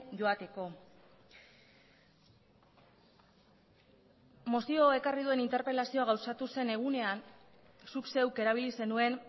joateko mozioa ekarri duen interpelazioa gauzatu zen egunean zuk zeuk erabili zenuen